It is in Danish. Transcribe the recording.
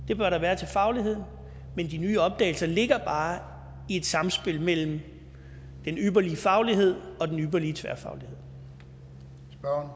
det bør der være til fagligheden men de nye opdagelser ligger bare i et samspil mellem den ypperlige faglighed og den ypperlige tværfaglighed